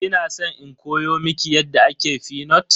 Kina san in koya miki yadda ake fenut?